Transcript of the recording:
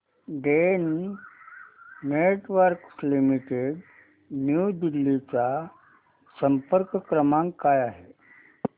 Den Networks limited New Delhi चा संपर्क क्रमांक काय आहे